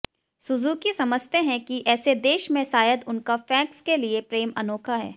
Suzuki समझते हैं कि ऐसे देश में शायद उनका फैक्स के लिए प्रेम अनोखा है